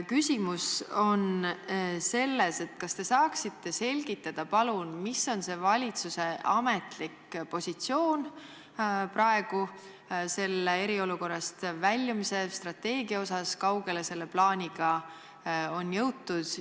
Kas te saaksite palun selgitada, mis on valitsuse ametlik positsioon selle eriolukorrast väljumise strateegiaga ja kui kaugele selle plaaniga on jõutud?